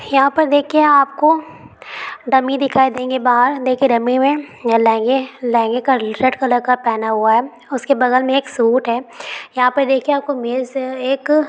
यहाँ पर देखिये आपको डमी दिखाई देंगे| बाहर देखिये डमी में लेहेंगे लहेंगे का रेड कलर का पहना हुआ है | उसके बगल में एक सूट है| यहाँ पे देखिये आपको मेज एक--